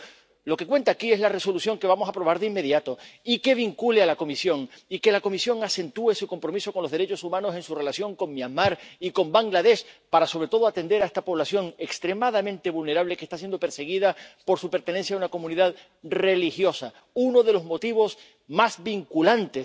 Por tanto, lo que cuenta aquí es la Resolución que vamos a aprobar de inmediato, y que vincule a la Comisión y que la Comisión acentúe su compromiso con los derechos humanos en su relación con Myanmar y con Bangladés, para, sobre todo, atender a esta población extremadamente vulnerable, que está siendo perseguida por su pertenencia a una comunidad religiosa, uno de los motivos más vinculantes